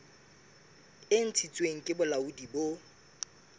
e ntshitsweng ke bolaodi bo